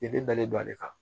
I bɛ dalen don ale kan